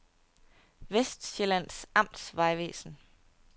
Vestsjællands Amtsvejvæsen